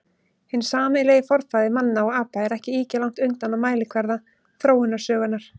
Hinn sameiginlegi forfaðir manna og apa er ekki ýkja langt undan á mælikvarða þróunarsögunnar.